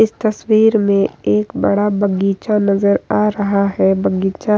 इस तस्वीर में एक बड़ा बगीचा नजर आ रहा है बगीचा --